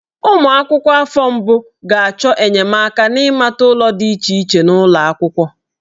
Ụmụ akwụkwọ nọ n'afọ mbụ ga-achọ enyemaka n'ịmata ụlọ dị iche iche n'ụlọ akwụkwọ.